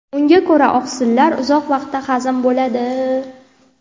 Unga ko‘ra, oqsillar uzoq vaqtda hazm bo‘ladi.